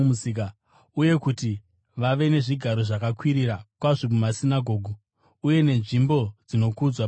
uye kuti vave nezvigaro zvakakwirira kwazvo mumasinagoge uye nenzvimbo dzinokudzwa pamabiko.